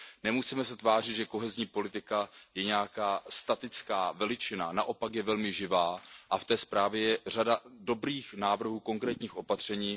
Nemusíme se tvářit, že kohezní politika je nějaká statická veličina, naopak je velmi živá a v té zprávě je řada dobrých návrhů, konkrétních opatření.